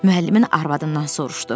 Müəllimin arvadından soruşdu.